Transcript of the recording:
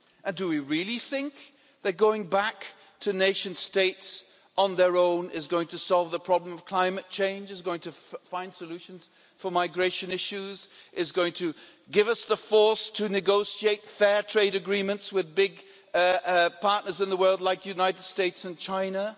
Do we really think that going back to nation states on their own is going to solve the problem of climate change, is going to find solutions for migration issues, is going to give us the force to negotiate fair trade agreements with big partners in the world like the United States and China?